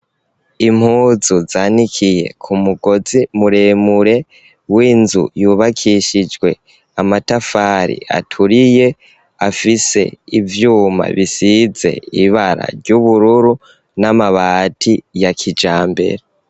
Impuzu zanikiye ku mugozi muremure w'inzu yubakishijwe amatafari aturiye afise ivyuma bisize ibara ry'ubururu n'amabati ya kijambere.